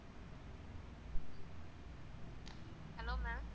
hello ma'am